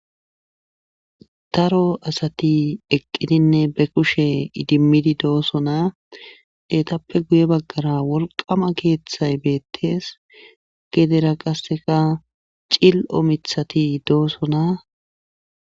Daro asati eqqidinne be kushe idimmidi doosona detappe guye baggara wolqama keeththay beettees gedera qasseka cil7omithati doosona.